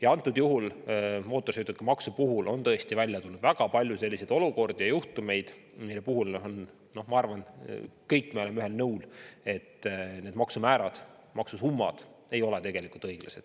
Ja antud juhul mootorsõidukimaksu puhul on tõesti välja tulnud väga palju selliseid olukordi ja juhtumeid, mille puhul, ma arvan, me kõik oleme ühel nõul, et need maksumäärad, maksusummad ei ole õiglased.